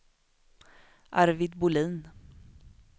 Arvid Bohlin